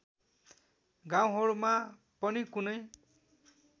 गाउँहरूमा पनि कुनै